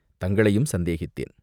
தங்களையும் சந்தேகித்தேன்.